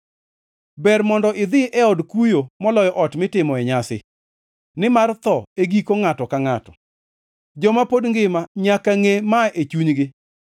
Ber mondo idhi e od kuyo moloyo ot mitimoe nyasi, nimar tho e giko ngʼato ka ngʼato; joma pod ngima nyaka ngʼe ma e chunygi.